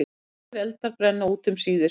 Allir eldar brenna út um síðir.